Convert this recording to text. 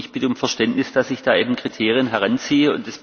Ich bitte um Verständnis, dass ich da eben Kriterien heranziehe.